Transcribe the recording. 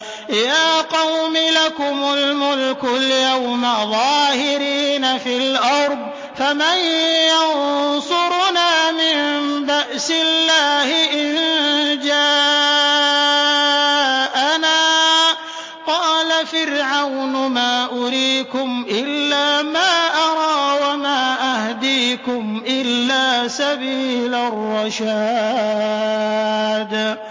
يَا قَوْمِ لَكُمُ الْمُلْكُ الْيَوْمَ ظَاهِرِينَ فِي الْأَرْضِ فَمَن يَنصُرُنَا مِن بَأْسِ اللَّهِ إِن جَاءَنَا ۚ قَالَ فِرْعَوْنُ مَا أُرِيكُمْ إِلَّا مَا أَرَىٰ وَمَا أَهْدِيكُمْ إِلَّا سَبِيلَ الرَّشَادِ